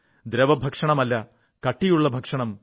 ദ്രവഭക്ഷണമല്ല കട്ടിയുള്ള ഭക്ഷണം